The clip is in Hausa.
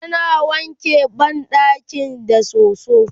tana wanke banɗakin da soso